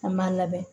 An b'a labɛn